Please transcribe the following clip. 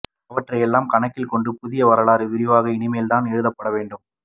அவற்றை எல்லாம் கணக்கில் கொண்டு புதிய வரலாறு விரிவாக இனிமேல்தான் எழுதபப்டவேண்டும்